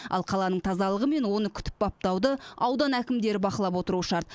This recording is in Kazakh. ал қаланың тазалығы мен оны күтіп баптауды аудан әкімдері бақылап отыруы шарт